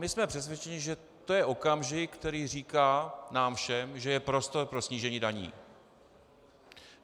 My jsme přesvědčeni, že to je okamžik, který říká nám všem, že je prostor pro snížení daní.